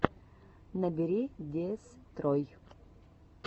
набери дестрой